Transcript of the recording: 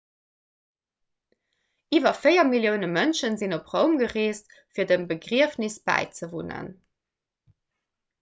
iwwer 4 millioune mënsche sinn op roum gereest fir dem begriefnes bäizewunnen